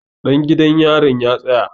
Ɗan gidan yarin ya tsaya!